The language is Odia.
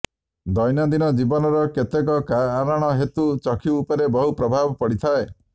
ଦୈନନ୍ଦିନ ଜୀବନର କେତେକ କାରଣ ହେତୁ ଚକ୍ଷୁ ଉପରେ ବହୁ ପ୍ରଭାବ ପଡ଼ିଥାଏ